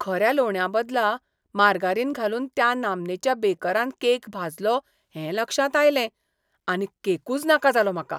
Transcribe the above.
खऱ्या लोण्याबदला मारगारीन घालून त्या नामनेच्या बेकरान केक भाजलो हें लक्षांत आयलें, आनी केकूच नाका जालो म्हाका.